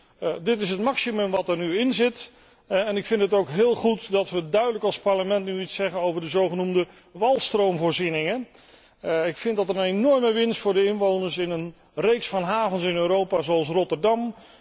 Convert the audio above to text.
Dit is dus het maximum dat er nu in zit en ik vind het ook goed dat we duidelijk als Parlement iets zeggen over de zogenoemde walstroomvoorzieningen. Ik vind dat een enorme winst voor de inwoners in een reeks van havens in Europa, zoals Rotterdam.